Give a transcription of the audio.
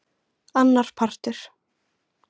Annar partur.